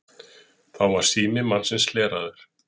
Þá var sími mannsins hleraður